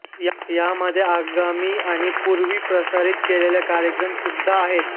यामध्ये आगामी आणि पूर्वी प्रसारित केलेले कार्यक्रम सुद्धा आहेत